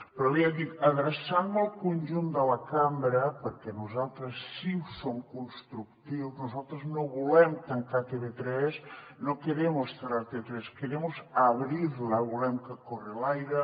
però bé ja dic adreçant me al conjunt de la cambra perquè nosaltres sí que som constructius nosaltres no volem tancar tv3 no queremos cerrar tv3 abrirla volem que corri l’aire